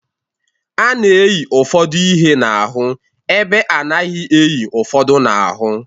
A na-eyi ụfọdụ ihe n'ahụ ebe a naghị eyi ụfọdụ n'ahụ.